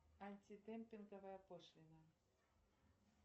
антидемпинговая пошлина